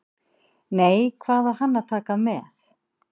Nei, hvað á hann að taka með?